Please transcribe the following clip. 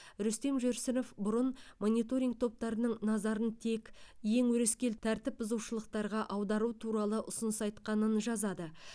рүстем жүрсінов бұрын мониторинг топтарының назарын тек ең өрескел тәртіпбұзушылықтарға аудару туралы ұсыныс айтқанын жазады